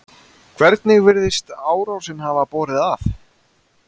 Hvernig virðist árásin hafa borið að?